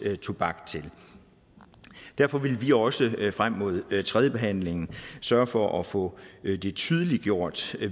tobak til derfor vil vi også frem mod tredjebehandlingen sørge for at få det tydeliggjort